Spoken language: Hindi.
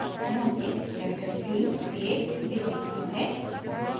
ध्यान दें adaptive theme एक basic बुनियादी theme है